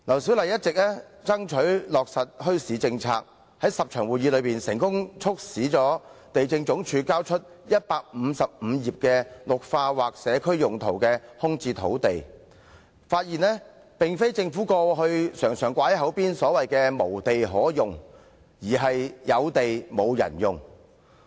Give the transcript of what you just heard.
她一直爭取落實墟市政策，在這10次會議期間，她成功地促使地政總署交出155頁有關"綠化或其他社區用途的空置土地"的資料，發現情況並非像政府過去經常掛在口邊般"無地可用"，而是"有地沒有人用"。